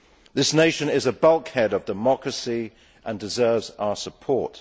This nation is a bulkhead of democracy and deserves our support.